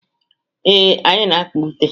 Ee, anyị na-akpa ute.